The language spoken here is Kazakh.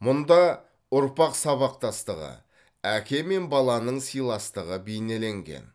мұнда ұрпақ сабақтастығы әке мен баланың сыйластығы бейнеленген